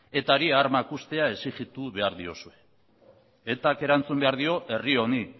etari armak uztea exigitu behar diozue etak erantzun behar dio herri honi